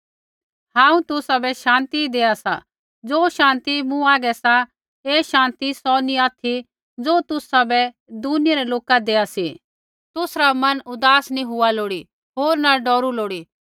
हांऊँ तुसाबै शान्ति देआ सा ज़ो शान्ति मूँ हागै सा ऐ शान्ति सौ नी ऑथि ज़ो तुसाबै दुनिया रै लोका देआ सा तुसरा मन उदास नी हुआ लोड़ी होर न डौरू लोड़ी